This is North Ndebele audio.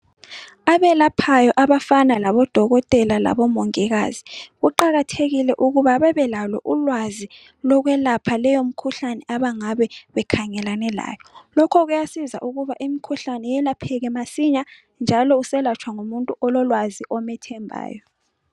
Abelaphayo abafana labodokotela labomongikazi kuqakathekile ukuba bebelalo ulwazi lokwelapha leyo mikhuhlane abangabe bekhangelane layo, lokho kuyasiza ukuba imikhuhlane yelapheke masinya njalo uselatshwa ngumuntu ololwazi, omthembayo.